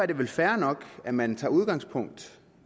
det vel fair nok at man tager udgangspunkt